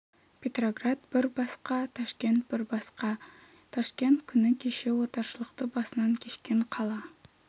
петроград бір басқа ташкент бір басқа ташкент күні кеше отаршылдықты басынан кешкен қала